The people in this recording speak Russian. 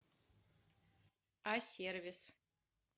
асервис